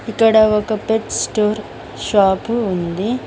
ఇక్కడ ఒక pet store shop ఉంది.